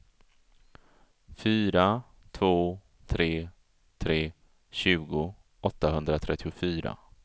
fyra två tre tre tjugo åttahundratrettiofyra